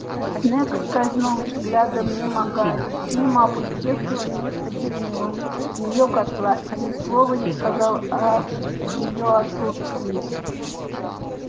снегг скользнул взглядом мимо гарри мимо опустевшего места гермионы её котла и ни слова не сказал о её отсутствии